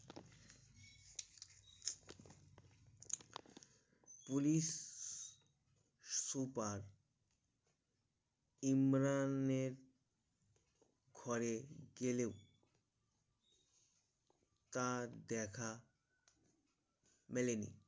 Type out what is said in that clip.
Police super ইমরানের ঘরে গেলেও তার দেখা মেলেনি